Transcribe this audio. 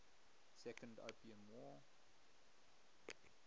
second opium war